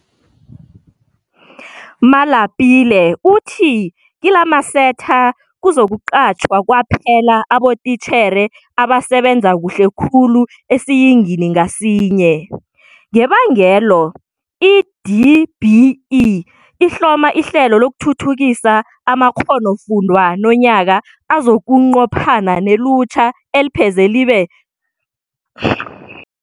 Malapile uthi kilamasetha kuzokuqatjhwa kwaphela abotitjhere abasebenza kuhle khulu esiyingini ngasinye. Ngebangelo, i-DBE ihloma ihlelo lokuthuthukisa amakghonofundwa nonyaka azokunqophana nelutjha elipheze libe ziingidi ezi-3.4 elingasebenziko, elingafundiko nelingasisehlelweni lokubandulelwa amakghonofundwa athileko.